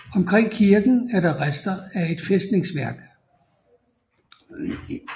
Omkring kirken er der rester af et fæstningsværk